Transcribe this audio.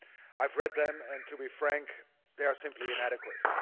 I've read them and, to be frank, they are simply inadequate.